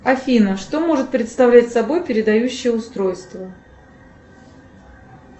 афина что может представлять собой передающее устройство